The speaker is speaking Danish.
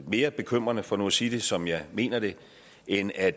mere bekymrende for nu at sige det som jeg mener det end at